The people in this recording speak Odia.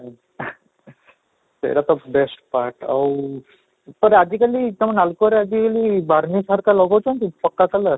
ସେଇଟା ତ best part ଆଉ ଆଜିକାଲି ତମୋ ନାଲକୋରେ ଆଜିକାଲି ଲଗଉଛନ୍ତି color